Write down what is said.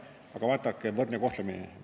Aga vaadake – võrdne kohtlemine!